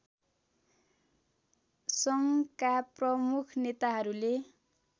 सङ्घका प्रमुख नेताहरूले